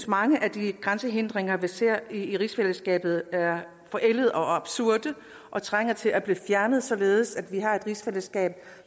mange af de grænsehindringer vi ser i rigsfællesskabet er forældede og absurde og trænger til at blive fjernet således at vi har et rigsfællesskab